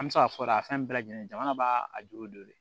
An bɛ se k'a fɔ a fɛn bɛɛ lajɛlen jamana b'a a jo de